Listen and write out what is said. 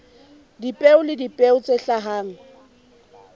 dipeo le dipeo tse hlahang